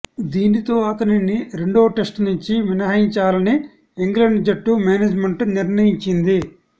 దీనితో అతనిని రెండో టెస్టు నుంచి మినహాయించాలని ఇంగ్లాండ్ జట్టు మేనేజ్మెంట్ నిర్ణయించింది